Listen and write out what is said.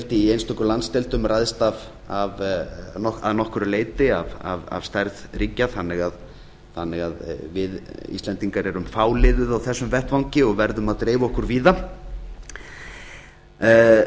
í einstökum landsdeildum ræðst að nokkru leyti af stærð ríkja þannig að við íslendingar eru fáliðuð á þessum vettvangi og verðum að dreifa okkur víða